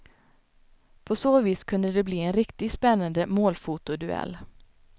På så vis kunde det bli en riktigt spännande målfotoduell.